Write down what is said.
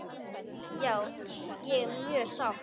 Já ég er mjög sátt.